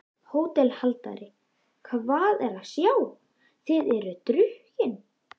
HÓTELHALDARI: Hvað er að sjá: þér eruð drukkin?